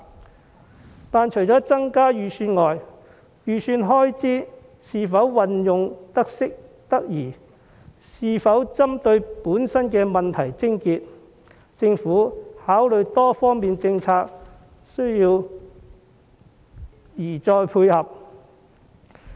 可是，除了增加預算外，預算開支是否運用得宜，以及是否針對問題癥結，政府在考慮多方面政策時宜再作配合。